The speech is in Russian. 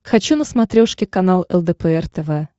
хочу на смотрешке канал лдпр тв